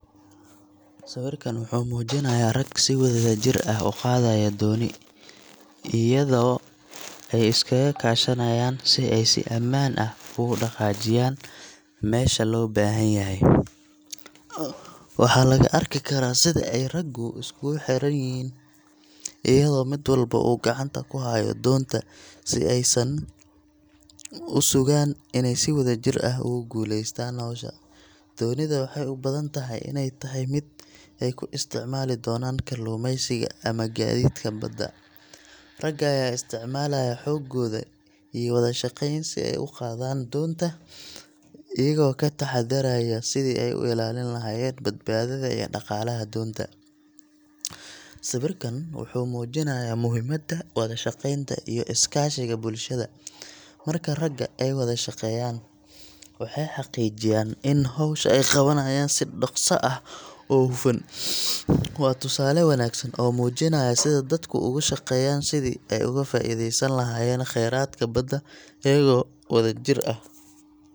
Sawirkan wuxuu muujinayaa rag si wadajir ah u qaadaya dooni, iyadoo ay iskaga kaashanayaan si ay si ammaan ah ugu dhaqaajiyaan meesha loo baahan yahay. Waxa laga arki karaa sida ay raggu iskugu xirxiran yihiin, iyadoo mid walba uu gacanta ku hayo doonta si ay u sugaan inay si wadajir ah ugu guuleystaan hawsha. Doonida waxay u badan tahay inay tahay mid ay ku isticmaali doonaan kalluumaysiga ama gaadiidka badda. Ragga ayaa isticmaalaya xooggooda iyo wada shaqeyn si ay u qaadaan doonta, iyagoo ka taxaddaraya sidii ay u ilaalin lahaayeen badbaadada iyo dhaqaalaha doonta. Sawirkan wuxuu muujinayaa muhiimadda wada shaqeynta iyo is-kaashiga bulshada. Marka ragga ay wada shaqeeyaan, waxay xaqiijinayaan in hawsha ay qabanayaan si dhakhso ah oo hufan. Waa tusaale wanaagsan oo muujinaya sida dadku uga shaqeeyaan sidii ay uga faa’iideysan lahaayeen khayraadka badda, iyagoo wada jir ah.